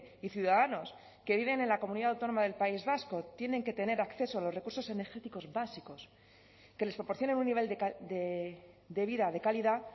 y ciudadanos que viven en la comunidad autónoma del país vasco tienen que tener acceso a los recursos energéticos básicos que les proporcione un nivel de vida de calidad